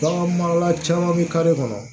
Bagan marala caman bɛ kare kɔnɔ